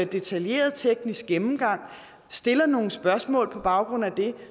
detaljeret teknisk gennemgang og stillede nogle spørgsmål på baggrund af det